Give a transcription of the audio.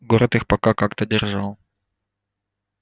город их пока как-то держал